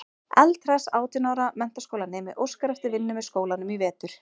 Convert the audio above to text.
Eldhress átján ára menntaskólanemi óskar eftir vinnu með skólanum í vetur.